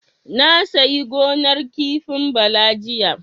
Na sayi gonar kifin Bala jiya.